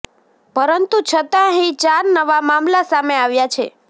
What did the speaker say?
પરંતુ છતાં અહીં ચાર નવા મામલા સામે આવ્યા છે